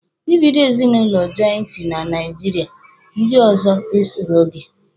Ị bido ezinụlọ jọịntị na Naijiria, ndị ọzọ e soro gị.